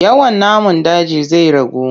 Yawan namun daji zai ragu.